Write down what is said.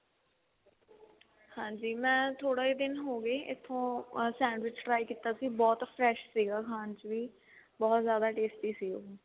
ਹਾਂਜੀ ਮੈਂ ਥੋੜੇ ਦਿਨ ਹੋਗੇ ਹਾਂ sandwich try ਕੀਤਾ ਸੀ ਬਹੁਤ fresh ਸੀਗਾ ਖਾਣ but ਜਿਆਦਾ tasty ਸੀ ਉਹ